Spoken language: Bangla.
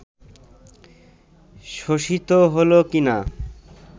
শোষিত হলো কিনা